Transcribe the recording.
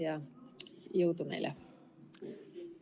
Ja jõudu meile!